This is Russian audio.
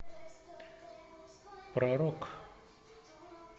про рок